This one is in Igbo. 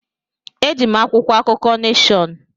Eji m akwụkwọ akụkọ Neshọn.